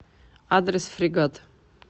адрес фрегат